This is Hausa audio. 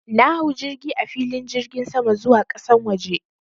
Na hau jirgi a filin jirgin sama zuwa ƙasan waje.